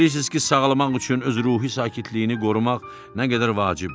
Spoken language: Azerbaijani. Bilirsiniz ki, sağalmaq üçün öz ruhi sakitliyini qorumaq nə qədər vacibdir.